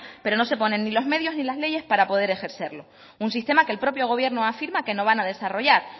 pero no se ponen ni los medios ni las leyes para poder ejercerlo un sistema que el propio gobierno afirma que no van a desarrollar